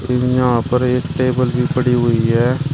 यहां पर एक टेबल भी पड़ी हुई है।